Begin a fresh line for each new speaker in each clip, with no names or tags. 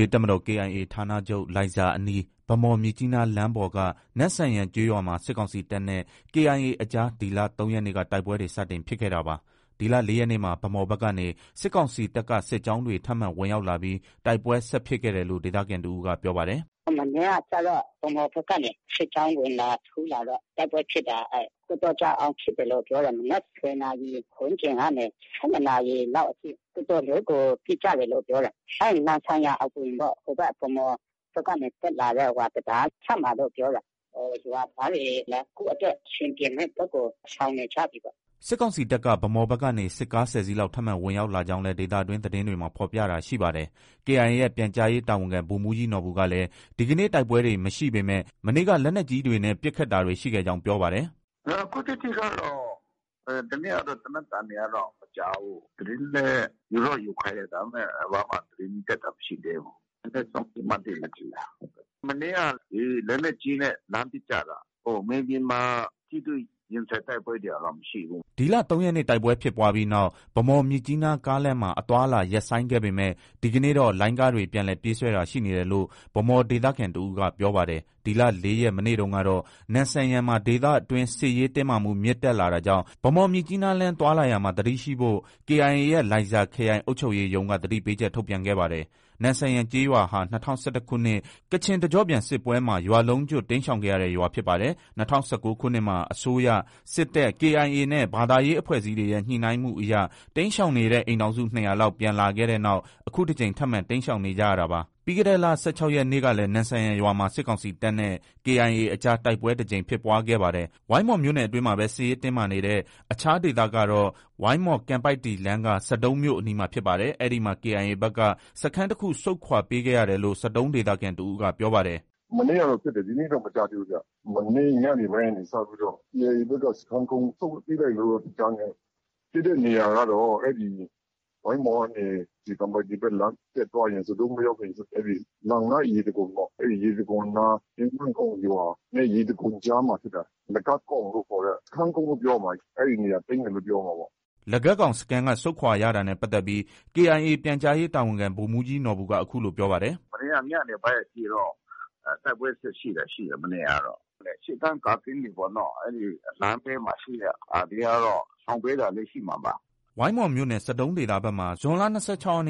ရေးတပ်မတော် KIA ဌာနချုပ် လိုင်ဇာအနီး၊ ဗန်းမော်-မြစ်ကြီးနားလမ်းပေါ်က နမ့်ဆန်ယန်ကျေးရွာမှာ စစ်ကောင်စီတပ်နဲ့ KIA အကြား ဒီလ ၃ ရက်နေ့က တိုက်ပွဲတွေ စတင်ဖြစ်ခဲ့တာပါ။ ဒီလ ၄ ရက်နေ့မှာ ဗန်းမော်ဘက်ကနေ စစ်ကောင်စီတပ်က စစ်ကြောင်းတွေ ထပ်မံ ဝင်ရောက်လာပြီး တိုက်ပွဲ ဆက်ဖြစ်ခဲ့တယ်လို့ဒေသခံတဦးက ပြောပါတယ်။
“ မနေ့ကကျတော့ ဗန်းမော်ဘက်ကနေ စစ်ကြောင်း ဝင်လာ၊ ထိုးလာတော့ တိုက်ပွဲဖြစ်တာ။ တော်တော်ကြာအောင် ဖြစ်တယ်လို့ ပြောတယ်။ မနက် ၁၀ နာရီ ဝန်းကျင်ကနေ ၁၂ နာရီ လောက်အထိ တော်တော်လေးကို ပစ်ကြတယ်လို့ ပြောတယ်။ အဲဒီ နမ့်ဆန်ယန်အဝင်ပေါ့။ ဗန်းမော်ဘက်ကနေ တက်လာတဲ့ တံတားအစပ်မှာလို့ ပြောတယ်။ ရွာသားတွေလည်း ကိုယ့်အတွက် အဆင်ပြေမယ့်ဘက်ကို ရှောင်နေကြပြီပေါ့။”
စစ်ကောင်စီတပ်က ဗန်းမော်ဘက်ကနေ စစ်ကား ၁၀ စီးလောက် ထပ်မံ ဝင်ရောက် လာကြောင်းလည်း ဒေသတွင်းသတင်းတွေမှာ ဖော်ပြတာရှိပါတယ်။ KIA ရဲ့ ပြန်ကြားရေး တာဝန်ခံဗိုလ်မှူးကြီးနော်ဘူ ကလည်း ဒီကနေ့ တိုက်ပွဲတွေ မရှိပေမဲ့၊ မနေ့က လက်နက်ကြီးတွေနဲ့ ပစ်ခတ်တာတွေ ရှိခဲ့ကြောင်း ပြောပါတယ်
။ “ အခုထိကတော့ ဒီနေ့ကတော့ သေနတ်သံတွေကတော့ မကြားဘူး။ သတင်းလည်း ယူတော့ယူခိုင်းတယ်။ ဒါပေမဲ့ ဘာမှ သတင်းတက်တာ မရှိသေးဘူး။ နည်းနည်းစောင့်
ကြည့်မှ သိမယ်ထင်တယ်။ မန
ေ့က လက်နက်ကြီးတွေနဲ့ လှမ်းပစ်ကြတာ။ မြေပြင်မှာ ထိတွေ့ရင်ဆိုင် တိုက်ပွဲတွေကတော့မရှိဘူး။
” ဒီလ၃ ရက်နေ့ တိုက်ပွဲဖြစ်ပွားပြီးနောက် ဗန်းမော်-မြစ်ကြီးနား ကားလမ်းမှာ အသွားအလာ ရပ်ဆိုင်းခဲ့ပေမဲ့ဒီကနေ့တော့ လိုင်းကားတွေ ပြန်လည် ပြေးဆွဲတာ ရှိနေတယ်လို့ဗန်းမော်ဒေသခံ တစ်ဦးကပြောပါတယ်။ ဒီလ ၄ ရက်၊ မနေ့တုန်းကတော့ နမ့်ဆန်ယန်မှာ ဒေသအတွင်း စစ်ရေးတင်းမာမှု မြင့်တက်လာတာကြောင့်ဗန်းမော်-မြစ်ကြီးနားလမ်း သွားလာရာမှာသတိရှိဖို့ KIA ရဲ့ လိုင်ဇာခရိုင်အုပ်ချုပ်ရေးရုံးကသတိပေးချက် ထုတ်ပြန်ခဲ့ပါတယ်။ နမ့်ဆန်ယန်ကျေးရွာဟာ ၂၀၁၁ ခုနှစ် ကချင်တကျော့ပြန်စစ်ပွဲမှာ ရွာလုံးကျွတ် တိမ်းရှောင်ခဲ့ရတဲ့ ရွာဖြစ်ပါတယ်။၂၀၁၉ ခုနှစ်မှာ အစိုးရ၊ စစ်တပ်၊ KIA နဲ့ ဘာသာရေး အဖွဲ့အစည်းတွေရဲ့ ညှိနှိုင်းမှုအရတိမ်းရှောင်နေတဲ့ အိမ်ထောင်စု ၂၀၀ လောက် ပြန်လာခဲ့တဲ့နောက် အခုတကြိမ် ထပ်မံ တိမ်းရှောင်နေကြရဝာာပါ။ပြီးခဲ့တဲ့လ ၁၆ ရက်နေ့ကလည်း နမ့်ဆန်ယန်ရွာမှာ စစ်ကောင်စီတပ်နဲ့ KIA အကြား တိုက်ပွဲ တကြိမ်ဖြစ်ပွားခဲ့ပါတယ်။ ဝိုင်းမော်မြို့နယ်အတွင်းမှာပဲစစ်ရေးတင်းမာနေတဲ့ အခြားဒေသကတော့ ဝိုင်းမော်-ကံပိုက်တည်လမ်းက ဆဒုံးမြို့အနီးမှာဖြစ်ပါတယ်။ အဲ့ဒီမှာ KIA ဘက်က စခန်းတခု ဆုတ်ခွာပေးခဲ့ရတယ်လို့ ဆဒုံးဒေသခံတဦးက ပြောပါတယ်
။ “ မနေ့ကတော့ဖြစ်တယ်။ ဒီနေ့တော့ မကြားသေးဘူး။ မနေ့ညနေပိုင်းကနေ စပြီးတော့ KIA ဘက်က စခန်းကုန်း ဆုတ်ပေးလိုက်တယ်လို့တော့ကြားတယ်။ ဖြစ်တဲ့နေရာကတော့ အဲဒီ ဝိုင်းမော်ကနေ ကံပိုက်တည်ဘက်လမ်း တက်သွားရင် ဆဒုံးမရောက်ခင် အဲဒီ လန်န ရေတံခွန်ပေါ့ ။ အဲဒီ ရေတံခွန်းနားအင်ဝမ်ကောင်ရွာနဲ့ ရေတံခွန်ကြားမှာ ဖြစ်တာ။ လဂတ်ကောင်လို့ခေါ်တဲ့ စခန်းကုန်းလို့ ပြောရမှာ အဲဒီနေရာ သိမ်းတယ်လို့ ပြောရမှာပေါ့
။” လဂတ်ကောင်စခန်းက ဆုတ်ခွာရတာနဲ့ပတ်သက်ပြီး KIA ပြန်ကြားရေး တာဝန်ခံဗိုလ်မှုးကြီးနော်ဘူကအခုလို ပြောပါတယ်။
“ မနေ့က ညနေပိုင်းအထိတော့ တိုက်ပွဲဆက်ရှိတာရှိတယ်။ မနေ့ကတော့။ ရှေ့တန်းကာကင်းတွေပေါ့နော်။လမ်းဘေးမှာ ရှိတဲ့ ကာကင်းကတော့ ရှောင်ပေးတာလည်း ရှိမှာပါ။”
ဝိုင်းမော်မြို့နယ် ဆဒုံးဒေသဘက်မှာ ဇွန်လ ၂၆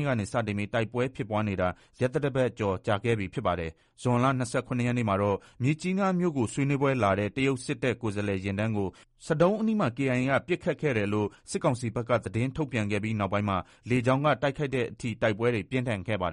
ရက်နေ့က စတင်ပြီး တိုက်ပွဲဖြစ်ပွားနေတာ ရက်သတ္တတပတ်ကျော် ကြာခဲ့ပြီဖြစ်ပါတယ်။ ဇွန်လ ၂၇ ရက်နေ့မှာတော့မြစ်ကြီးနားမြို့ကို ဆွေးနွေးပွဲလာတဲ့ တရုတ်စစ်တပ် ကိုယ်စားလှယ်ယာဉ်တန်းကိုဆဒုံးအနီးမှာ KIA က ပစ်ခတ်ခဲ့တယ်လို့ စစ်ကောင်စီဘက်က သတင်းထုတ်ပြန်ခဲ့ပြီးနောက်ပိုင်းမှာ လေကြောင်းက တိုက်ခိုက်တဲ့ အထိ တိုက်ပွဲတွေ ပြင်းထန်ခဲ့ပါတယ်